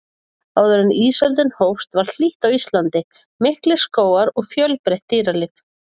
Áður en ísöldin hófst var hlýtt á Íslandi, miklir skógar og fjölbreytt dýralíf.